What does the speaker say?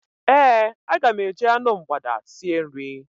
Ee, aga m eji anụ mgbada sie nri.